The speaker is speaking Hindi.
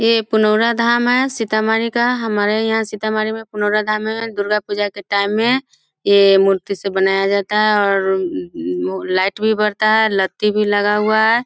ये पुनोरा धाम है सीतामढ़ी का हमारे यहाँ सीतामढ़ी में पुनोरा धाम है दुर्गा पूजा का टाइम हैं ये मूर्ति से बनाया जाता हैं और लाइट भी बढता हैं भी लगाया हुवा हैं |